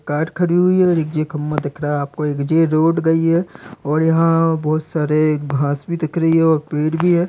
Car खड़ी हुई है और एक जे खम्भा दिख रहा है आपको एक जे रोड गयी है और यहाँ बोहोत सारी घास भी दिख रही है और पेड़ भी है।